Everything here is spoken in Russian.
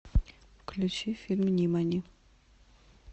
включи фильм нимани